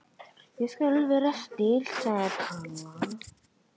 Ég skal vera stillt sagði Palla.